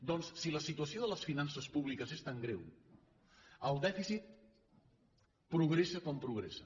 doncs si la situació de les finances públiques és tan greu el dèficit progressa com progressa